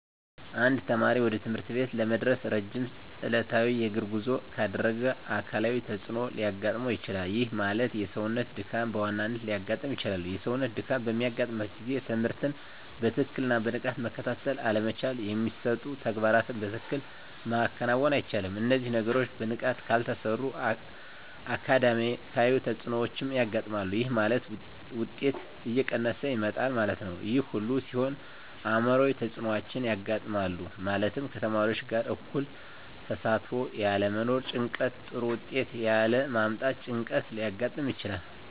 አንድ ተማሪ ወደ ትምህርት ቤት ለመድረስ ረጅም ዕለታዊ የእግር ጉዞ ካደረገ አካላዊ ተፅዕኖ ሊያጋጥመው ይችላል። ይህ ማለት የሰውነት ድካም በዋናነት ሊያጋጥም ይችላል። የሰውነት ድካም በሚያጋጥምበት ጊዜ ትምህርትን በትክክልና በንቃት መከታተል አለመቻል የሚሰጡ ተግባራትን በትክክል ማከናወን አይቻልም። እነዚህ ነገሮች በንቃት ካልተሰሩ አካዳሚያዊ ተፅዕኖዎች ያጋጥማል። ይህ ማለት ውጤት እየቀነሰ ይመጣል ማለት ነው። ይህ ሁሉ ሲሆን አዕምሯዊ ተፅዕኖዎች ያጋጥማሉ። ማለትም ከተማሪዎች ጋር እኩል ተሳትፎ ያለመኖር ጭንቀት ጥሩ ውጤት ያለ ማምጣት ጭንቀት ሊያጋጥም ይችላል።